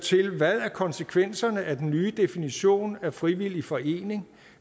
konsekvenserne af den nye definition af en frivillig forening